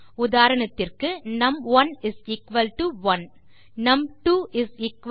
உதாரணத்திற்கு நும்1 1 நும்2 2